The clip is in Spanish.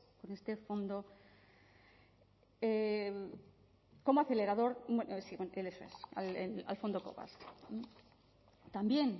con este fondo como acelerador bueno sí al fondo covax también